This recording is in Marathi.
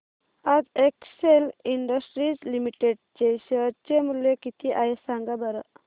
आज एक्सेल इंडस्ट्रीज लिमिटेड चे शेअर चे मूल्य किती आहे सांगा बरं